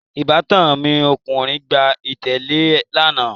Ìbátan mi ọkùnrin gbà ilẹ̀lẹ́ẹ̀ lánà